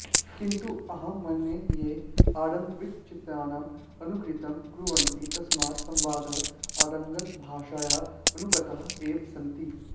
किन्तु अहं मन्ये ते आङ्ग्लवृत्तचित्राणां अनुकृतिं कुर्वन्ति तस्मात् संवादाः आङ्ग्लभाषायाः अनूक्ताः एव सन्ति